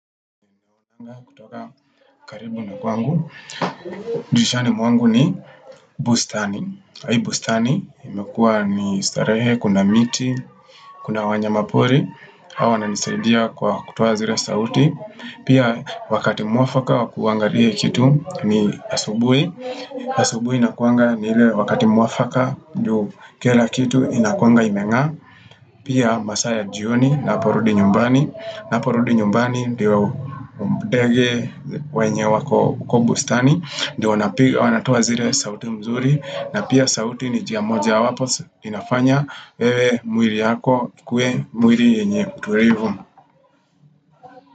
Kutoka karibu na kwangu, dirishani mwangu ni bustani. Kwa hii bustani imekua ni starehe, kuna miti, kuna wanyamapori. Wananisidia kwa kutoa zile sauti. Pia wakati mwafaka wa kuangalia hii kitu ni Asubui. Asubuhi inakuanga ni ile wakati mwafaka juu kila kitu inakuanga imeng'aa. Pia masaa ya jioni ninaporudi nyumbani. Ninaporudi nyumbani ndio ndege wenye wako huko bustani ndio wanatoa zile sauti mzuri na pia sauti ni njia mojawapo inafanya wewe mwili yako ikuwe mwili yenye mtulivu.